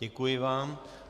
Děkuji vám.